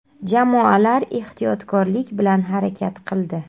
Jamoalar ehtiyotkorlik bilan harakat qildi.